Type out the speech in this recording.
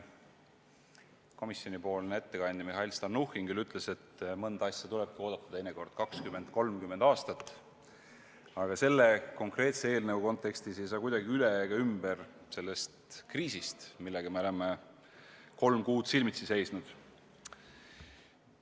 Komisjoni ettekandja Mihhail Stalnuhhin küll ütles, et mõnda asja tulebki oodata teinekord 20–30 aastat, aga selle konkreetse eelnõu kontekstis ei saa kuidagi üle ega ümber sellest kriisist, millega me oleme kolm kuud silmitsi seisnud.